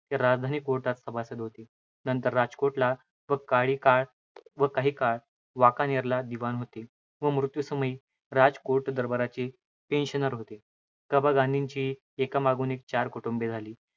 राजस्थानी कोटांत सभासद होते. नंतर राजकोटला व काही कळ काही काळ व वाकानेरला दिवाण होते व मृत्युसमयी राजकोट दरबारचे pensioner होते. कबा गांधींचीही एकामागून एक चार कुटुंबे झाली.